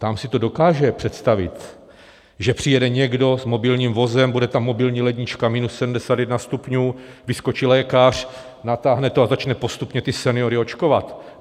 Tam si to dokáže představit, že přijede někdo s mobilním vozem, bude tam mobilní lednička minus 71 stupňů, vyskočí lékař, natáhne to a začne postupně ty seniory očkovat.